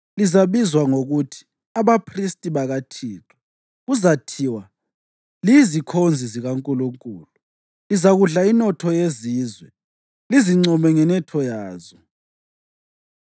Lizabizwa ngokuthi abaphristi bakaThixo, kuzathiwa liyizikhonzi zikaNkulunkulu. Lizakudla inotho yezizwe, lizincome ngenotho yazo.